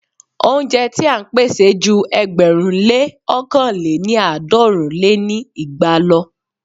Óúnjẹ ti à ń pèsè ju ẹgbẹ̀rún lé ọ̀kan lé ní àádọ́rùn lé ní igba lọ.